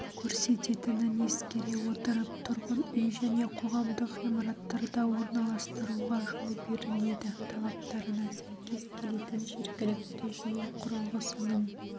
көрсететінін ескере отырып тұрғын үй және қоғамдық ғимараттарда орналастыруға жол беріледі талаптарына сәйкес келетін жергілікті жүйе құрылғысының